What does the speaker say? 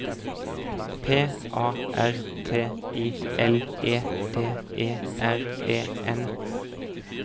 P A R T I L E D E R E N